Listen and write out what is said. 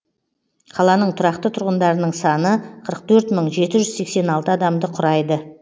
қаланың тұрақты тұрғындарының саны қырық төрт мың жеті жүз сексен алты адамды құрайды